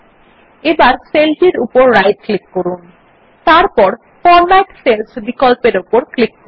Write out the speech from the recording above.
এবার সেল টির উপর রাইট ক্লিক করুন এবং তারপর ফরম্যাট সেলস বিকল্প উপর ক্লিক করুন